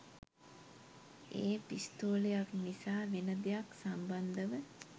ඒ පිස්තෝලයක් නිසා වෙන දෙයක් සම්බන්ධව.